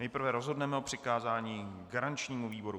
Nejprve rozhodneme o přikázání garančnímu výboru.